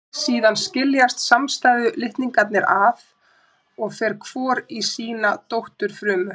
Síðan skiljast samstæðu litningarnir að og fer hvor í sína dótturfrumu.